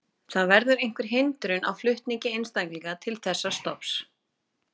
Það verður einhver hindrun á flutningi einstaklinga til þessa stofns.